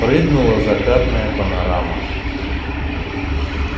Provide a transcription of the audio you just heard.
прыгнула закатная панорама